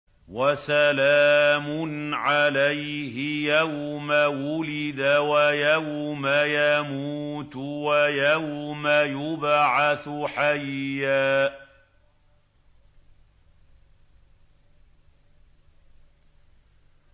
وَسَلَامٌ عَلَيْهِ يَوْمَ وُلِدَ وَيَوْمَ يَمُوتُ وَيَوْمَ يُبْعَثُ حَيًّا